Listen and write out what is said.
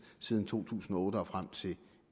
siden to tusind og otte og frem til